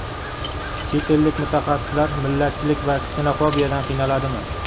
Chet ellik mutaxassislar millatchilik va ksenofobiyadan qiynaladimi?